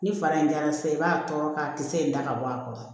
Ni fara in jara sisan i b'a tɔɔrɔ ka kisɛ in da ka bɔ a kɔrɔ